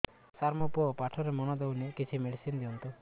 ସାର ମୋର ପୁଅ ପାଠରେ ମନ ଦଉନି କିଛି ମେଡିସିନ ଦିଅନ୍ତୁ